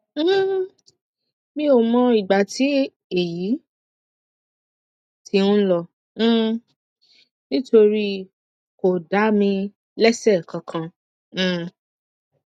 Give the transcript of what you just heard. um mi ò mọ ìgbà tí èyí ti ń lọ um nítorí kò dá mi léṣe kankan um